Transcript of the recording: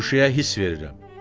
Şüşəyə hiss verirəm.